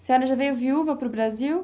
A senhora já veio viúva para o Brasil?